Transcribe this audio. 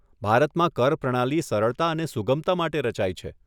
ભારતમાં કર પ્રણાલી સરળતા અને સુગમતા માટે રચાઈ છે.